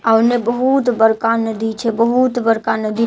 आ ओहि मे बहुत बड़का नदी छै बहुत बड़का नदी आ जहाँ नदी